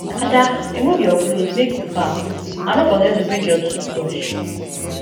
ada remove your cloth make you baff and no forget to bring your tooth brush